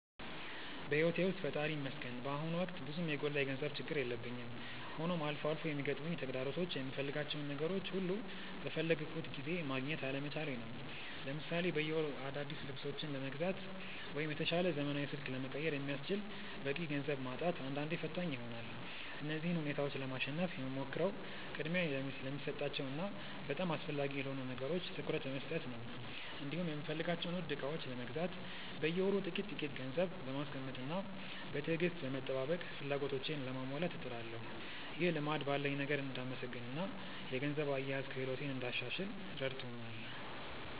በሕይወቴ ውስጥ ፈጣሪ ይመስገን በአሁኑ ወቅት ብዙም የጎላ የገንዘብ ችግር የለብኝም፤ ሆኖም አልፎ አልፎ የሚገጥሙኝ ተግዳሮቶች የምፈልጋቸውን ነገሮች ሁሉ በፈለግኩት ጊዜ ማግኘት አለመቻሌ ነው። ለምሳሌ በየወሩ አዳዲስ ልብሶችን ለመግዛት ወይም የተሻለ ዘመናዊ ስልክ ለመቀየር የሚያስችል በቂ ገንዘብ ማጣት አንዳንዴ ፈታኝ ይሆናል። እነዚህን ሁኔታዎች ለማሸነፍ የምሞክረው ቅድሚያ ለሚሰጣቸው እና በጣም አስፈላጊ ለሆኑ ነገሮች ትኩረት በመስጠት ነው፤ እንዲሁም የምፈልጋቸውን ውድ ዕቃዎች ለመግዛት በየወሩ ጥቂት ጥቂት ገንዘብ በማስቀመጥና በትዕግስት በመጠባበቅ ፍላጎቶቼን ለማሟላት እጥራለሁ። ይህ ልማድ ባለኝ ነገር እንድመሰገንና የገንዘብ አያያዝ ክህሎቴን እንዳሻሽል ረድቶኛል።